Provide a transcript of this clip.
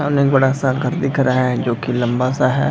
सामने एक बड़ा-सा घर दिख रहा है जो की लम्बा-सा है ।